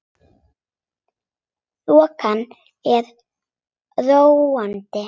Þokan er róandi